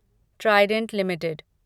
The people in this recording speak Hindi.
Trident limited